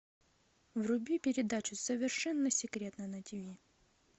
вруби передачу совершенно секретно на тв